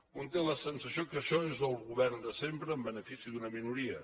un té la sensació que això és el govern de sempre en benefici d’una minoria